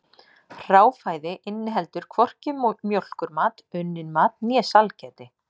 Hráfæði inniheldur hvorki mjólkurmat, unnin mat né sælgæti.